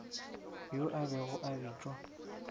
yo a bego a bitšwa